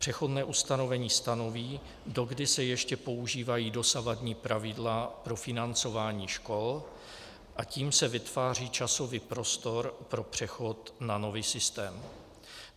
Přechodné ustanovení stanoví, dokdy se ještě používají dosavadní pravidla pro financování škol, a tím se vytváří časový prostor pro přechod na nový systém.